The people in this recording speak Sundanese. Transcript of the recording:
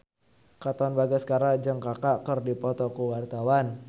Katon Bagaskara jeung Kaka keur dipoto ku wartawan